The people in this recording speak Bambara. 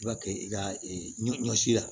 I b'a kɛ i ka ɲɔ si la